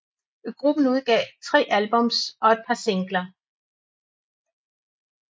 Gruppen udgav tre albums og et par singler